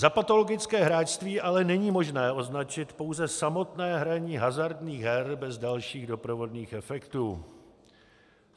Za patologické hráčství ale není možné označit pouze samotné hraní hazardních her bez dalších doprovodných efektů.